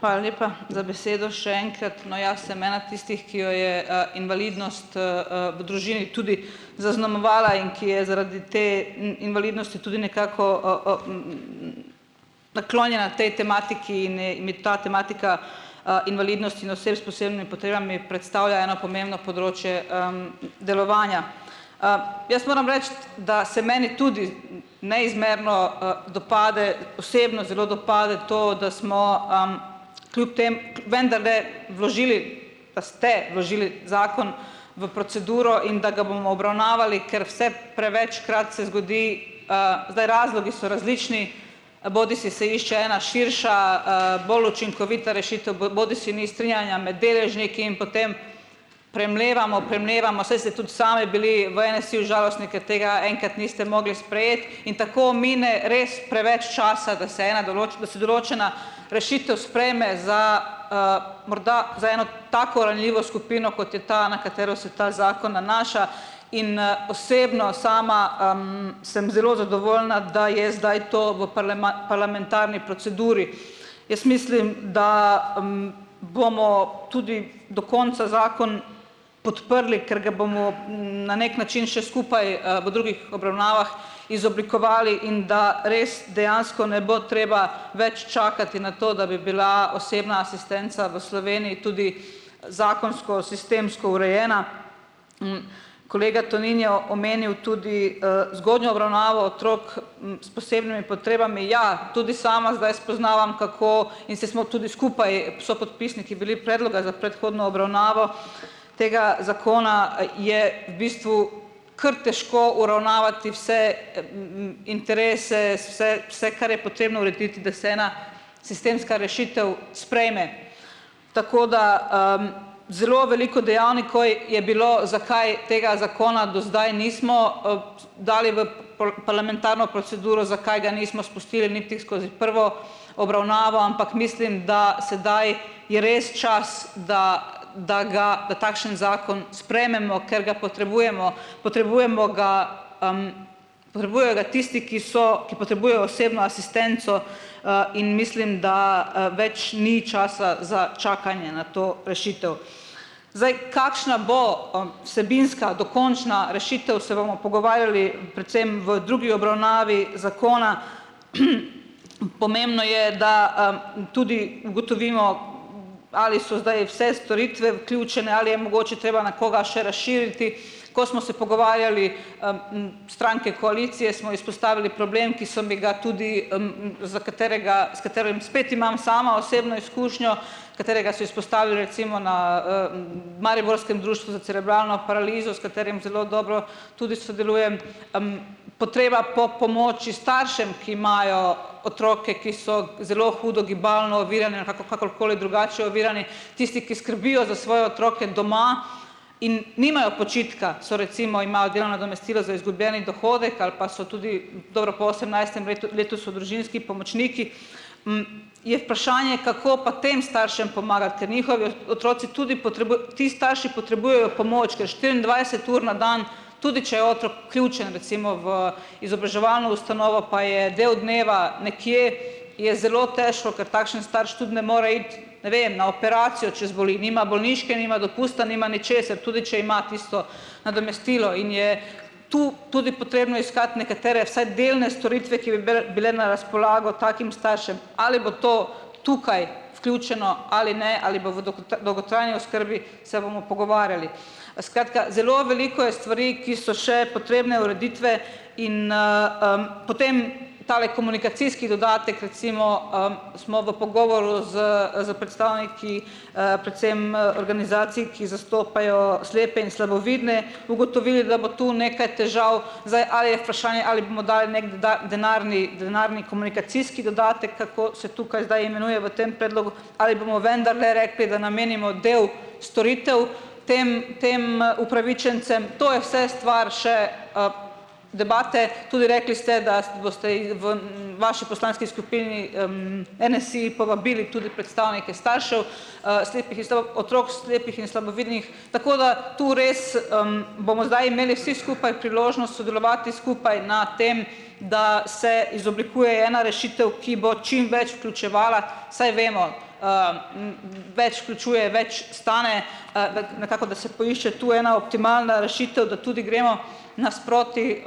Hvala lepa za besedo, še enkrat. No, jaz sem ena tistih, ki jo je, invalidnost, v družini tudi zaznamovala in ki je zaradi te invalidnosti tudi nekako, naklonjena tej tematiki in in mi ta tematika, invalidnost in oseb s predstavlja eno pomembno področje, delovanja. jaz moram reči, da se meni tudi neizmerno, dopade, osebno zelo dopade to, da smo, kljub temu, vendarle vložili, pa ste vložili zakon v proceduro in da ga bomo obravnavali, ker vse prevečkrat se zgodi, zdaj, razlogi so različni, bodisi se išče ena širša, bolj učinkovita rešitev, bodisi ni strinjanja med deležniki in potem premlevamo, premlevamo, saj ste tudi sami bili v NSi-ju žalostni, ker tega enkrat niste mogli sprejeti in tako mine res preveč časa, da se ena da se določena rešitev sprejme za, morda za eno tako ranljivo skupino, kot je ta, na katero se ta zakon nanaša in, osebno sama, sem zelo zadovoljna, da je zdaj to v parlamentarni proceduri. Jaz mislim, da, bomo tudi do konca zakon podprli, ker kje bomo na neki način še skupaj, v drugih obravnavah izoblikovali in da res dejansko ne bo treba več čakati na to, da bi bila osebna asistenca v Sloveniji tudi zakonsko sistemsko urejena. Kolega Tonin je omenil tudi, zgodnjo otrok, s potrebami. Ja, tudi sama zdaj spoznavam, kako, in saj smo tudi skupaj s sopodpisniki bili predloga za predhodno obravnavo tega zakona, je v bistvu kar težko uravnavati vse, interese, vse, kar je potrebno urediti, da se ena sistemska rešitev sprejme. Tako, da, zelo veliko dejavnikov je bilo, zakaj tega zakona do zdaj nismo, dali v parlamentarno proceduro, zakaj ga nismo spustili niti skozi prvo obravnavo, ampak mislim, da sedaj je res čas, da da ga da takšen zakon sprejmemo, ker ga potrebujemo, potrebujemo ga, tisti, ki so, ki osebno asistenco, in mislim, da, več ni časa za čakanje na to rešitev. Zdaj, kakšna bo, vsebinska, dokončna rešitev, se bomo pogovarjali predvsem v drugi obravnavi zakona. Pomembno je, da, tudi ugotovimo, ali so zdaj vse storitve vključene, ali je mogoče treba na koga še razširiti. Ko smo se pogovarjali, stranke koalicije, smo izpostavili problem, ki so mi ga tudi, za katerega spet imam sama osebno izkušnjo, katerega so izpostavili recimo na, mariborskem društvu za cerebralno paralizo, s katerim zelo dobro tudi sodelujem, potreba po pomoči staršem, ki imajo otroke, ki so zelo hudo gibalno kakorkoli drugače ovirani, tisti, ki skrbijo za svoje otroke doma in nimajo počitka, so recimo, nadomestilo z izgubljeni dohodek ali pa so tudi, dobro po osemnajstem letu so družinski pomočniki, je vprašanje, kako pa tem staršem pomagati, ker njihovi otroci tudi ti starši potrebujejo pomoč, ker štiriindvajset ur na dan, tudi če otrok vključen recimo v izobraževalno ustanovo, pa je del dneva nekje, je zelo težko, ker takšen starš tudi ne more iti, ne vem, na operacijo, če zboli, nima bolniške, nima dopusta, nima ničesar, tudi če ima tisto nadomestilo. In je tu tudi potrebno iskati nekatere, vsaj delne storitve, ki bi bele bile na razpolago takim staršem. Ali bo to tukaj vključeno ali ne, ali bo v dolgotrajni oskrbi, se bomo pogovarjali. skratka, zelo veliko je stvari, ki so še potrebne ureditve. In, potem tale komunikacijski dodatek, recimo, smo v pogovoru s, s predstavniki, predvsem, organizacij, ki zastopajo slepe in slabovidne, ugotovili, da bo tu nekaj težav. Zdaj, ali je vprašanje ali bomo dali neg denarni denarni dodatek, kako se tukaj zdaj imenuje v tem predlogu, ali bomo vendarle repi, da namenimo del storitev tem tem upravičencem, to je vse stvar še, debate. Tudi rekli ste, da vaši poslanski skupini, NSi povabili tudi predstavnike staršev, slepih, otrok slepih in slabovidnih. Tako da to res, bomo zdaj imeli vsi skupaj priložnost sodelovati skupaj na tem, da se izoblikuje ena rešitev, ki bo čim več vključevala, saj vemo, več vključuje, več stane, da ga nekako da se poišče tu ena optimalna rešitev, da tudi gremo nasproti,